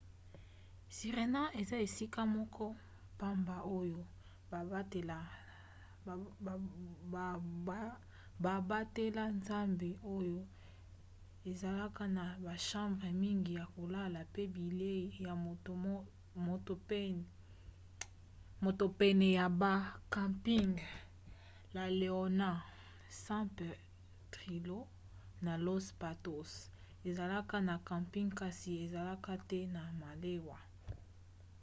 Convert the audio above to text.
sirena eza esika moko pamba oyo babatela zamba oyo ezalaka na bachambre mingi ya kolala pe bilei ya moto pene ya ba camping. la leona san pedrillo na los patos ezalaka na camping kasi ezalaka te na malewa